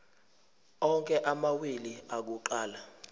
onke amawili akuqala